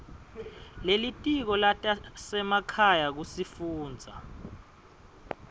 lelitiko letasekhaya kusifundza